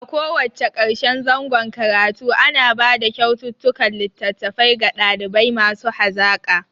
A ko wacce karshen zangon karatu ana bada kyaututtukan litattafai ga ɗalibai masu hazaka